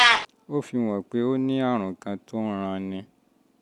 ó fihàn pé o ní um àrùn kan tó ń ranni